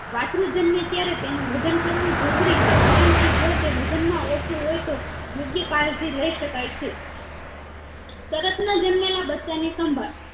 વસ્ત્રુ જન્મે ત્યારે તેનું વજન કરવું જરૂરી છે કારણ કે જો તે વજન માં ઓછું હોય તો યોગ્ય કાળજી લયશકાય છે તરત ના જન્મેલા બચ્ચા ની સંભાળ